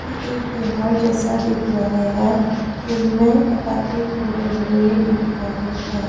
ये एक तिहास जैसा दिख रहा है इनमें पटाखे फोड़े हुए दिख रहे हैं।